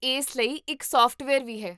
ਇਸ ਲਈ ਇੱਕ ਸੋਫਟਵੇਅਰ ਵੀ ਹੈ